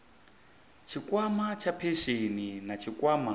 tshikwama tsha phesheni na tshikwama